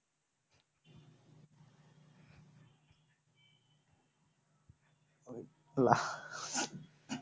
আল্লাহ